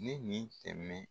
Ne nin tɛmɛn